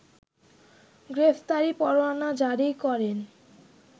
গ্রেফতারি পরোয়ানা জারি করেন